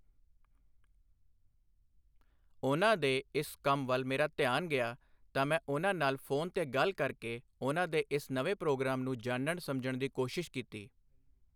ਉਨ੍ਹਾਂ ਦੇ ਇਸ ਕੰਮ ਵੱਲ ਮੇਰਾ ਧਿਆਨ ਗਿਆ ਤਾਂ ਮੈਂ ਉਨ੍ਹਾਂ ਨਾਲ ਫੋਨ ਤੇ ਗੱਲ ਕਰਕੇ ਉਨ੍ਹਾਂ ਦੇ ਇਸ ਨਵੇਂ ਪ੍ਰੋਗਰਾਮ ਨੂੰ ਜਾਨਣ ਸਮਝਣ ਦੀ ਕੋਸ਼ਿਸ਼ ਕੀਤੀ।